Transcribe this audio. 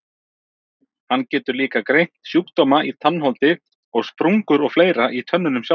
Hann getur líka greint sjúkdóma í tannholdi og sprungur og fleira í tönnunum sjálfum.